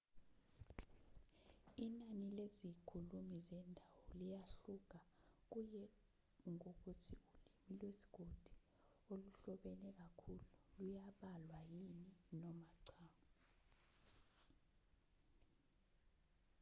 inani lezikhulumi zendawo liyahluka kuye ngokuthi ulimi lwesigodi oluhlobene kakhulu luyabalwa yini noma cha